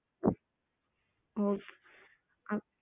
ஓ அ